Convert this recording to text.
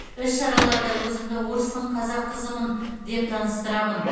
іс шараларда өзімді орыстың қазақ қызымын деп таныстырамын